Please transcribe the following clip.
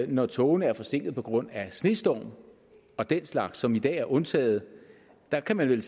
når togene er forsinkede på grund af snestorm og den slags som i dag er undtaget der kan man vel